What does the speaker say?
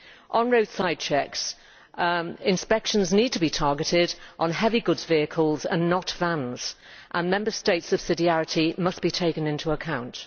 On roadside checks, inspections need to be targeted on heavy goods vehicles and not vans and Member States' subsidiarity must be taken into account.